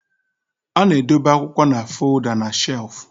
A na-edobe akwụkwọ na folda na shelf